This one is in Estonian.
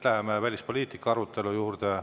Läheme välispoliitika arutelu juurde.